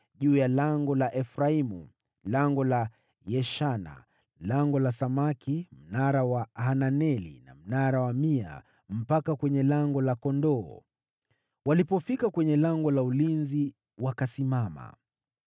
juu ya Lango la Efraimu, Lango la Yeshana, Lango la Samaki, Mnara wa Hananeli, na Mnara wa Mia, mpaka kwenye Lango la Kondoo. Walipofika kwenye Lango la Ulinzi wakasimama.